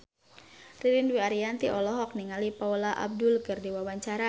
Ririn Dwi Ariyanti olohok ningali Paula Abdul keur diwawancara